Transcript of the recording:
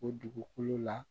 O dugukolo la